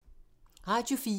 Radio 4